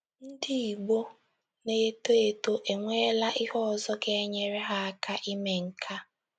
Ndị Igbo na - eto eto enweela ihe ọzọ ga - enyere ha aka ime nke a.